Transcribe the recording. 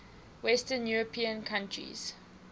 western european countries